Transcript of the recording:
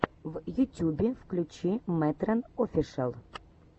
в ютюбе включи мэтрэн офишэл